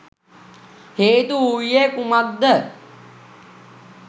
හේතු වූයේ කුමක්ද?